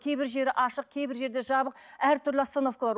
кейбір жері ашық кейбір жерде жабық әртүрлі остановкалар